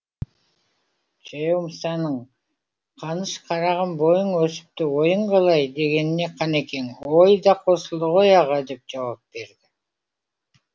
жаяу мұсаның қаныш қарағым бойың өсіпті ойың қалай дегеніне қанекең ой да қосылды ғой аға деп жауап берді